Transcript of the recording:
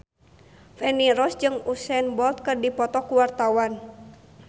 Feni Rose jeung Usain Bolt keur dipoto ku wartawan